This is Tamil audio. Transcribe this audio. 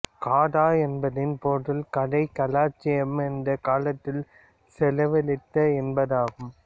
கதா என்பதன் பொருள் கதை காலட்சேபம் என்றால் காலத்தைச் செலவழித்தல் என்பதாகும்